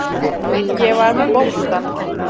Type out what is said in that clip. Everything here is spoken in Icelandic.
Ég var með boltann.